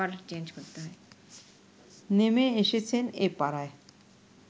নেমে এসেছেন এ পাড়ায়